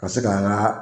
Ka se ka an ka